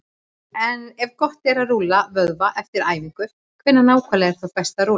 Ef gott er að rúlla vöðva eftir æfingar, hvenær nákvæmlega er þá best að rúlla?